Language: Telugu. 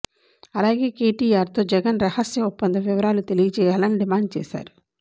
అలాగే కేటీఆర్ తో జగన్ రహస్య ఒప్పంద వివరాలు తెలియజేయాలని డిమాండ్ చేశారు